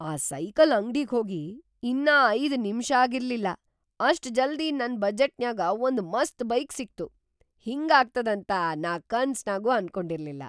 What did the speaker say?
ಆ ಸೈಕಲ್‌ ಅಂಗ್ಡಿಗ್ಹೋಗಿ ಇನ್ನಾ ಐದ್ ನಿಮಿಷಾಗಿರ್ಲಿಲ್ಲಾ‌ ಅಷ್ಟ್‌ ಜಲ್ದಿ ನನ್‌ ಬಜೆಟ್‌ನ್ಯಾಗ ಒಂದ್‌ ಮಸ್ತ್‌ ಬೈಕ್‌ ಸಿಕ್ತು, ಹಿಂಗಾಗ್ತದಂತ ನಾ ಕನಸ್ನಾಗೂ ಅನ್ಕೊಂಡಿರ್ಲಿಲ್ಲಾ.